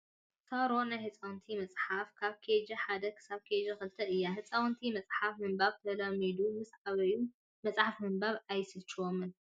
ሳሮን ናይ ህፃውንቲ መፅሓፍ ካብ ኬጂ 1 ክሳብ ኬጂ 2 እያ። ህፃውንቲ መፅሓፍ ምንባብ ተለሚዶም ምስ ዓበዩ መፅሓፍ ምንባብ ኣይስልችዎምን።